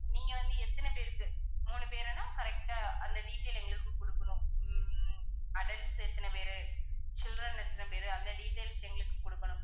நீங்க வந்து எத்தனை பேருக்கு மூணு பேருன்னா correct ஆ அந்த detail எங்களுக்கு குடுக்கணும். உம் adults எத்தனை பேரு children எத்தனை பேருன்னு அந்த details எங்களுக்கு குடுக்கணும்.